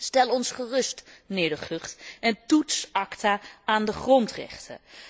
Stel ons gerust, meneer De Gucht, en toets ACTA aan de grondrechten.